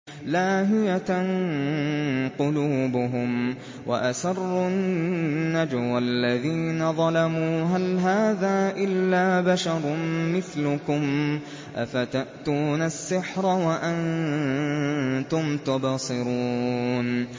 لَاهِيَةً قُلُوبُهُمْ ۗ وَأَسَرُّوا النَّجْوَى الَّذِينَ ظَلَمُوا هَلْ هَٰذَا إِلَّا بَشَرٌ مِّثْلُكُمْ ۖ أَفَتَأْتُونَ السِّحْرَ وَأَنتُمْ تُبْصِرُونَ